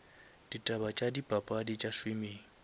ditaba tša dipapadi tša swimming